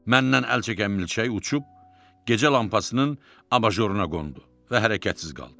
Məndən əl çəkən milçək uçub gecə lampasının abajoruna qondu və hərəkətsiz qaldı.